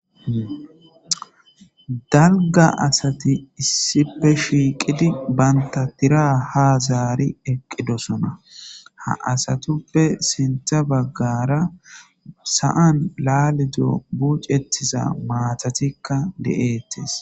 Dalga asati issipe shiiqidi banta tira ha zaari eqqidosona ha asatuppe sintha baggara sa7an laaledo buucettiza maatatikka de'eettes.